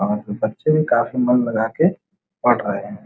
और बच्चे भी काफी मन लगा के पढ़ रहे हैं।